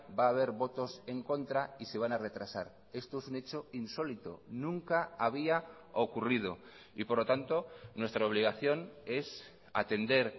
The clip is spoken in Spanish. va a haber votos en contra y se van a retrasar esto es un hecho insólito nunca había ocurrido y por lo tanto nuestra obligación es atender